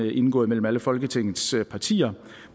er indgået mellem alle folketingets partier